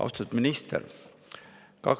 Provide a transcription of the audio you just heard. Austatud minister!